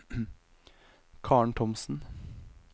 Karen Thomsen